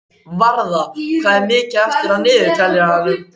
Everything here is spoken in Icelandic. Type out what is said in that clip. Varða, hvað er mikið eftir af niðurteljaranum?